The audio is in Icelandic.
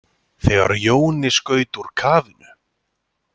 Þegar Jóni skaut úr kafinu.